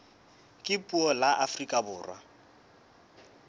ka puo la afrika borwa